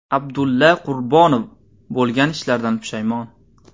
Abdulla Qurbonov bo‘lgan ishlardan pushaymon.